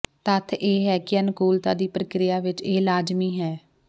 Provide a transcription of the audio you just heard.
ਤੱਥ ਇਹ ਹੈ ਕਿ ਅਨੁਕੂਲਤਾ ਦੀ ਪ੍ਰਕਿਰਿਆ ਵਿੱਚ ਇਹ ਲਾਜ਼ਮੀ ਹੈ